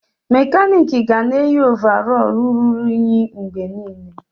Mekaniks ga na-eyi ovarọl ruru unyi mgbe niile.